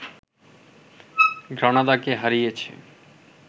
গ্রানাদাকে হারিয়েছে